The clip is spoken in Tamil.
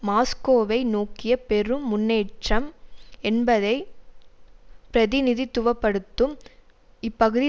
மாஸ்கோவை நோக்கிய பெரும் முன்னேற்றம் என்பதை பிரதிநிதித்துவ படுத்தும் இப்பகுதி